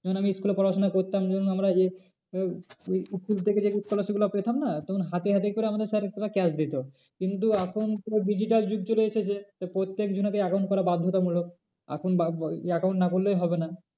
কারণ আমি school পড়াশোনা করতাম যখন আমরা এ school থেকে যে scholarship গুলো পেতাম না তখন হাতে হাতে করে আমাদের sir পুরো cash দিত। কিন্তু এখন পুরো digital যুগ চলে এসেছে তাই প্রত্যেক জনকে account করা বাধ্যতা মূলক এখন account না করলে হবে না।